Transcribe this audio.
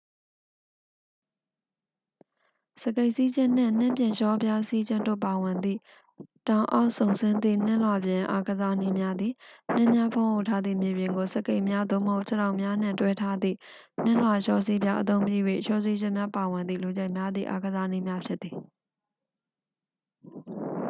စကိတ်စီးခြင်းနှင့် နှင်းပြင်လျှောပြားစီးခြင်းတို့ပါဝင်သည့် တောင်အောက်စုန်ဆင်းသည့် နှင်းလွှာပြင်အားကစားနည်းများသည် နှင်းများဖုံးအုပ်ထားသည့် မြေပြင်ကို စကိတ်များ သို့မဟုတ် ခြေထောက်များနှင့် တွဲထားသည့် နှင်းလွှာလျှောစီးပြား အသုံးပြု၍ လျှောဆင်းခြင်းများပါဝင်သည့် လူကြိုက်များသည့် အားကစားနည်းများဖြစ်သည်